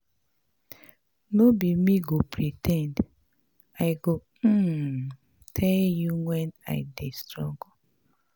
No be me go pre ten d, I go um tell you wen I dey struggle.